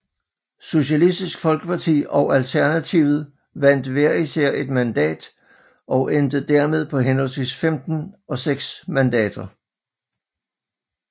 Socialistisk Folkeparti og Alternativet vandt hver især et mandat og endte dermed på henholdsvis 15 og 6 mandater